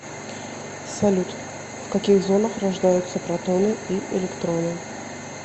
салют в каких зонах рождаются протоны и электроны